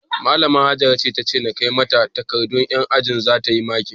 Malama Hajara ce tace na kai mata takardun yan ajinmu zata yi makin